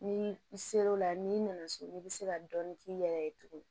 Ni i ser'o la n'i nana so i bɛ se ka dɔɔni k'i yɛrɛ ye tuguni